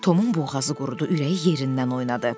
Tomun boğazı qurudu, ürəyi yerindən oynadı.